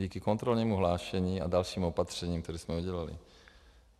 Díky kontrolnímu hlášení a dalším opatřením, která jsme udělali.